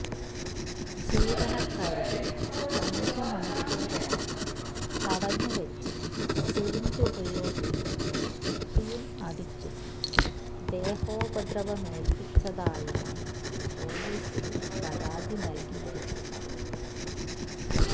ജീവന ക്കാരിയെ അഞ്ച് മണിക്കൂറോളം തടഞ്ഞ് വച്ച് സിറിഞ്ച് ഉപയോഗിച്ച് കുത്തിയും അടിച്ചും ദേഹോപദ്രവ മേല്പ്പിച്ചതായാണ് പോലീസില് പരാതി നല്കിയിരിക്കുന്നത്